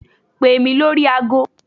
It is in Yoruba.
Pè mí lórí agọ.